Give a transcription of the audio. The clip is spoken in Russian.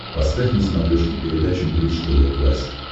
поставь на смотрешке передачу бридж тв классик